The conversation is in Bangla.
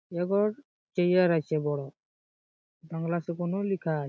এবং চেয়ার আছে বড়ো বাংলাতে লেখা আ--